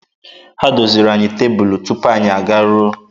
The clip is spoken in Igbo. Ha doziri anyị tebụlụ tupu anyị agaruo.